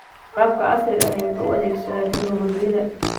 Waraabka casriga ahi waxa uu adeegsadaa tignoolajiyada.